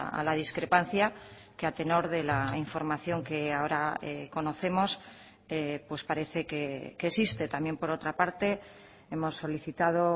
a la discrepancia que a tenor de la información que ahora conocemos pues parece que existe también por otra parte hemos solicitado